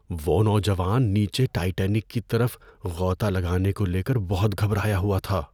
وہ نوجوان نیچے ٹائٹینک کی طرف غوطہ لگانے کو لے کر بہت گھبرایا ہوا تھا۔